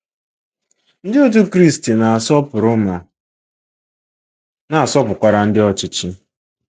Ndị Otú Kristi na-asọpụrụ ma na-asọpụrụ ndị ọchịchị.